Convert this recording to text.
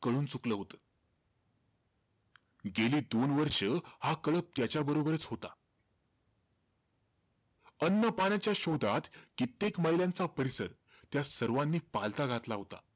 कळून चुकलं होतं. गेले दोन वर्ष हा कळप त्याच्य बरोबरचं होता. अन्न पाण्याच्या शोधात, कित्येक मैलांचा परिसर त्या सर्वांनी पालथा घातला होता.